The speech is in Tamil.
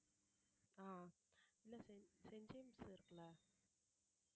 அஹ் இல்ல செயின்~ செயின்ட் ஜேம்ஸ் இருக்குல்ல